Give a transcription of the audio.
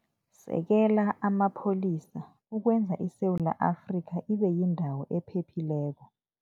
Sekela Amapholisa Ukwenza ISewula Afrika Ibe Yindawo Ephephileko